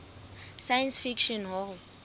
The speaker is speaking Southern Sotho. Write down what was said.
science fiction hall